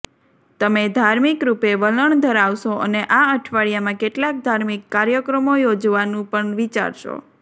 તમે ધાર્મિક રૂપે વલણ ધરાવશો અને આ અઠવાડિયામાં કેટલાક ધાર્મિક કાર્યક્રમો યોજવાનું પણ વિચારશો